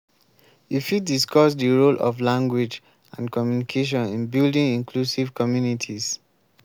you fit discuss di role of language and communication in building inclusive communities.